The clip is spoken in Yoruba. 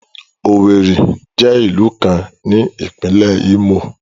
Owerri jẹ ilu kan ni Ipinle Imo